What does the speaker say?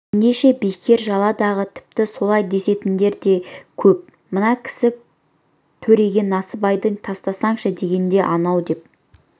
ендеше бекер жала-дағы тіпті солай десетіндер де көп мына кісі төреге насыбайды тастасаңшы дегенде анау деп